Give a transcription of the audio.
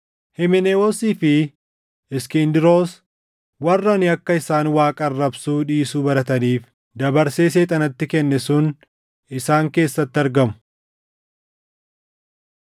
Himenewoosii fi Iskindiroos warri ani akka isaan Waaqa arrabsuu dhiisuu barataniif dabarsee Seexanatti kenne sun isaan keessatti argamu.